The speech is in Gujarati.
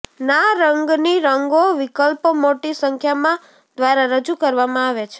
ના રંગની રંગો વિકલ્પો મોટી સંખ્યામાં દ્વારા રજૂ કરવામાં આવે છે